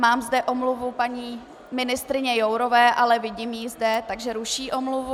Mám zde omluvu paní ministryně Jourové, ale vidím ji zde, takže ruší omluvu.